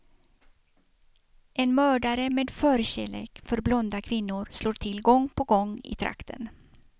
En mördare med förkärlek för blonda kvinnor slår till gång på gång i trakten.